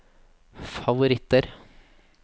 favoritter